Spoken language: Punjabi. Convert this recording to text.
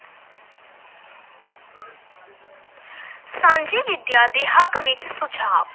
ਸਾਂਝੀ ਵਿੱਦਿਆ ਦੇ ਹੱਕ ਵਿੱਚ ਸੁਝਾਵ,